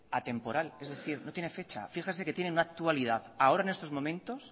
atemporal es decir no tienen fecha fíjese que tiene una actualidad ahora en estos momentos